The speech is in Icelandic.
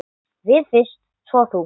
Við fyrst, svo þú.